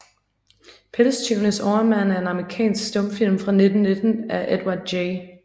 Pelstyvenes Overmand er en amerikansk stumfilm fra 1919 af Edward J